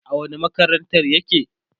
a wani makarantar yake?